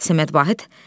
Səməd Vahid.